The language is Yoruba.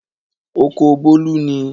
Oko Bólú ni.